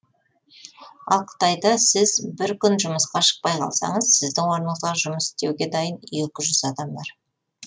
ал қытайда сіз бір күн жұмысқа шықпай қалсаңыз сіздің орныңызға жұмыс істеуге дайын екі жүз адам бар